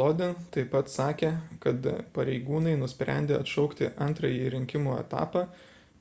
lodin taip pat sakė kad pareigūnai nusprendė atšaukti antrąjį rinkimų etapą